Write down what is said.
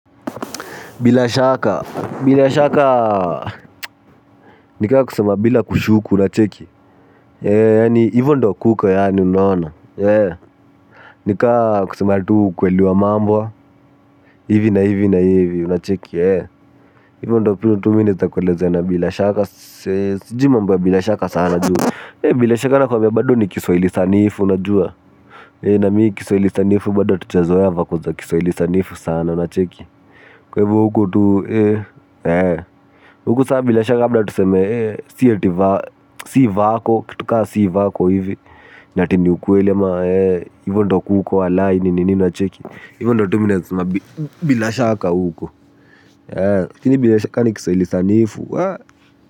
Bila shaka. Bila shaka nika kusema bila kushuku unacheki. Eee yani hivyo ndo kuko yaani unaona. Eee. Nika kusema tu ukweli wa mambo. Hivi na hivi na hivi unacheki. Eee. Hivyo ndo pili tu mi nitakuwelezena bila shaka. Sijui mambo na bila shaka sana ju bila shaka bado nakuambia ni kiswahili sanifu unajua. Eee na mi kiswaili sanifu bado hatujazoea vaku zo kiswaili sanifu sana unacheki. Kwaivo huku tu eee. Eee. Huku saa bila shaka labda tu seme, eh, si vako, kitu kaa si vako hivi, na ati ni ukweli ama, eh, iyvo ndo kuko walayi, nini unacheki, iyvo ndo kuko, bila shaka uko, eh, lakini bila shaka ni kiswaili sanifu, ah.